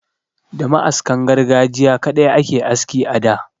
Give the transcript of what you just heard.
Da ma'askan gargajiya kaɗai ake aski a da.